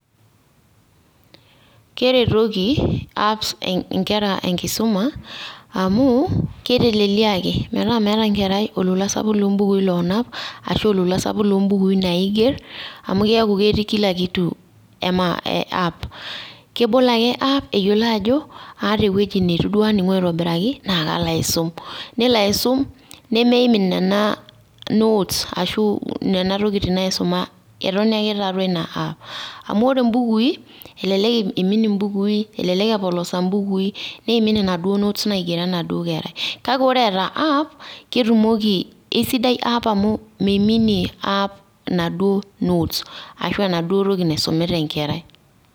keretoki apps inkera enkisuma amu, keiteleliaki ,metaa meeta enkerai olola sapuk loo bukui loonap ashu olola sapuk loo bukui naiger, amu keeku ketii kila kitu app .kebol ake app eyiolo ajo aata ewueji neitu duo aning'u aitobiraki naa kalo aisum. nelo aisum nemeimin nena notes ashu nena tokitin naaisuma etoni ake tiatua ina app amu ore ibukui, elelk imin ibukui, elelek epolosa ibukui, neimin ina duo notes naigero ena duo kerai. kake ore eeta app ketumoki, keisidai app amu meiminie app inaduo notes ashu enaduoo toki naisumita enkerai.